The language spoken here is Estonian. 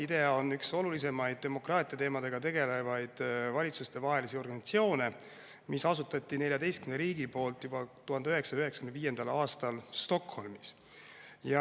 IDEA on üks olulisemaid demokraatia teemadega tegelevaid valitsustevahelisi organisatsioone, mis asutati 14 riigi poolt juba 1995. aastal Stockholmis.